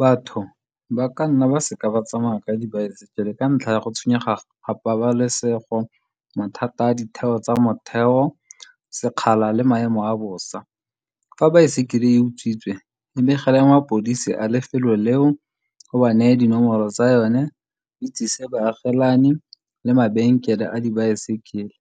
Batho ba ka nna ba seka ba tsamaya ka dibaesekele ka ntlha ya go tshwenyega ga pabalesego, mathata a ditheo tsa motheo, sekgala le maemo a bosa. Fa baesekele e utswitswe, e begele mapodisi a lefelo leo, o ba neye dinomoro tsa yone, o itsise baagelani le mabenkele a dibaesekele